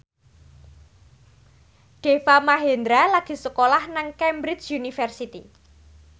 Deva Mahendra lagi sekolah nang Cambridge University